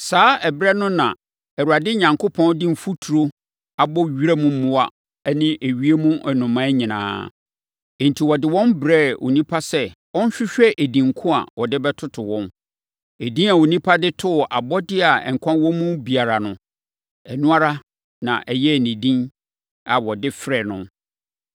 Saa ɛberɛ no na, Awurade Onyankopɔn de mfuturo abɔ wiram mmoa ne ewiem nnomaa nyinaa. Enti, ɔde wɔn brɛɛ onipa sɛ ɔnhwehwɛ edin ko a ɔde bɛtoto wɔn. Edin a onipa de too abɔdeɛ a nkwa wɔ mu biara no, ɛno ara na ɛyɛɛ edin a wɔde frɛɛ no.